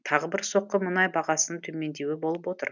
тағы бір соққы мұнай бағасының төмендеуі болып отыр